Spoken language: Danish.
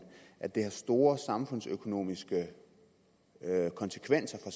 at det har store samfundsøkonomiske konsekvenser